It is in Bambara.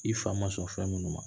I fa ma sɔn fɛn ninnu ma